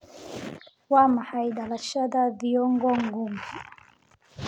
Waa maxay dhalashada Thiongo Ngugi?